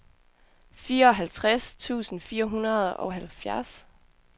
fireoghalvtreds tusind fire hundrede og halvfjerds